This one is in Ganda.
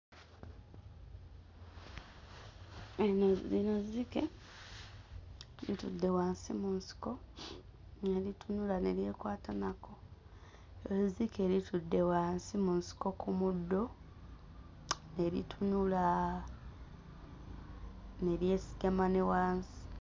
Eno lino zzike litudde wansi mu nsiko ne litunula ne lyekwata nako ezzike litudde wansi mu nsiko ku muddo ne litunula ne lyesigama ne wansi.